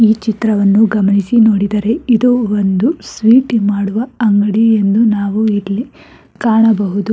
ಈ ಚಿತ್ರವನ್ನು ಗಮನಿಸಿ ನೋಡಿದರೆ ಇದು ಒಂದು ಸ್ವೀಟ್ ಮಾಡುವ ಅಂಗಡಿ ಎಂದು ನಾವು ಇಲ್ಲಿ ಕಾಣಬಹುದು.